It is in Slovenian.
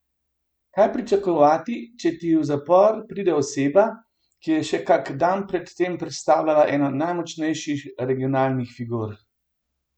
Kaj pričakovati, če ti v zapor pride oseba, ki je še kak dan pred tem predstavljala eno najmočnejših regionalnih figur?